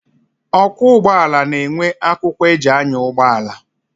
Ọkwọ ụgbọala na-enwe akwụkwọ eji anya ụgbọala.